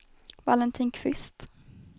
Valentin Kvist